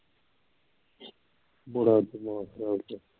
ਬੜਾ ਤਮਾਸ਼ਾ ਇਹਦੇ ਵਿੱਚ